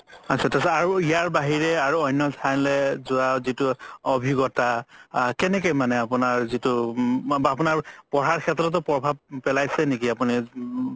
আতচা আত্চা ইয়াৰ বাহিৰে আৰু অন্য ঠাইলে যোৱা যিতো অভিজ্ঞতা আ কেনেকে মানে আপুনাৰ যিতো উম আপুনাৰ পঢ়াৰ সেত্ৰতও প্ৰভাব আপুনি